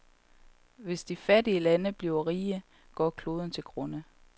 Hvis de fattige lande bliver rige, går kloden til grunde.